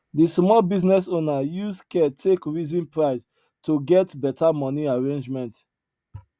di small business owner use care take reason price to get beta money arrangement